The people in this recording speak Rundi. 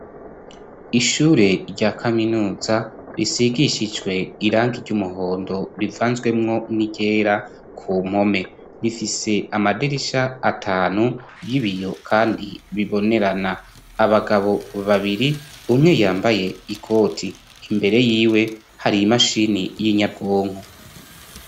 Ishure rya kaminuza risigishijwe irangi ry'umuhondo rivanzemwo n'iryera ku mpome. Rifise amadirisha atanu y'ibiyo kandi bibonerana. Abagabo babiri umwe yambaye ikoti imbere y'iwe hari imashini y'inyabwonko.